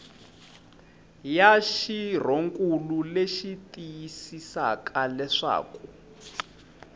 ya xirhonkulu leyi tiyisisaka leswaku